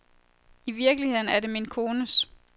I virkeligheden er det min kones.